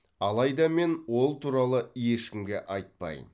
алайда мен ол туралы ешкімге айтпаймын